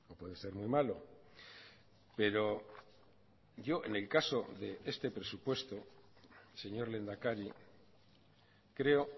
puede ser muy malo pero yo en el caso de este presupuesto señor lehendakari creo